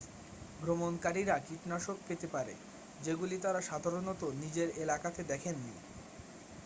ভ্রমণকারীরা কীটনাশক পেতে পারে যেগুলি তারা সাধারণত নিজের এলাকাতে দেখেননি